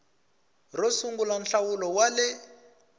ro sungula nhlawulo wa le